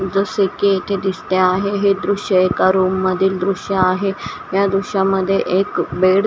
जसे की येथे दिसते आहे हे दृश्य एका रूम मधील दृश्य आहे या दृश्यामध्ये एक बेड --